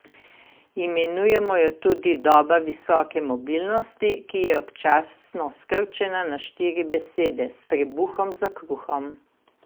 Imenujemo jo tudi "doba visoke mobilnosti", ki je občasno skrčena na štiri besede: "s trebuhom za kruhom".